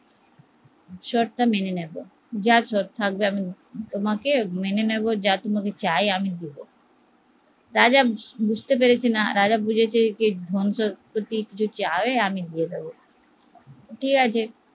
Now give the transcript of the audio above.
শর্ত মেনে নেবো যা শর্ত থাকবে, রাজা বুঝতে পারছেনা ধন সম্পত্তি যদি চায় তো আমি দিয়ে দেব